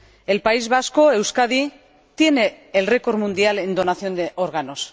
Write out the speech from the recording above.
El País Vasco —Euskadi— tiene el récord mundial en donación de órganos.